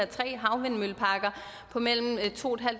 tre havvindmølleparker på mellem to